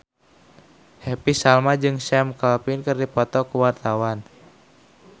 Happy Salma jeung Sam Claflin keur dipoto ku wartawan